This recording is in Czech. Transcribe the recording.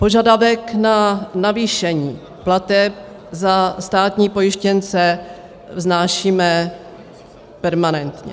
Požadavek na navýšení plateb za státní pojištěnce vznášíme permanentně.